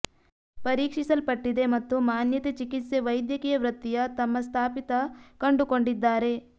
ಪರೀಕ್ಷಿಸಲ್ಪಟ್ಟಿದೆ ಮತ್ತು ಮಾನ್ಯತೆ ಚಿಕಿತ್ಸೆ ವೈದ್ಯಕೀಯ ವೃತ್ತಿಯ ತಮ್ಮ ಸ್ಥಾಪಿತ ಕಂಡುಕೊಂಡಿದ್ದಾರೆ